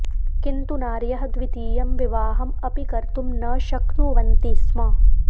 किन्तु नार्यः द्वितीयं विवाहम् अपि कर्तुं न शक्नुवन्ति स्म